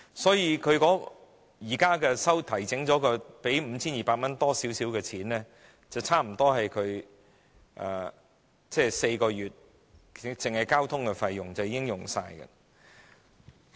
所以，現在經調整後的 5,200 元多一點的金額，支付4個月的交通費後，已幾近花光。